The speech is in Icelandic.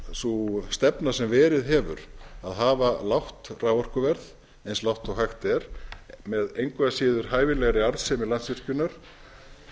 sú stefna sem verið hefur að hafa lágt raforkuverð eins lágt og hægt er með engu að síður hæfilegri arðsemi landsvirkjunar